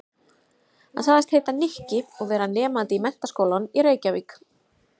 Hann sagðist heita Nikki og vera nemandi í Menntaskólanum í Reykjavík.